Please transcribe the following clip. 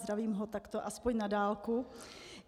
Zdravím ho takto aspoň na dálku.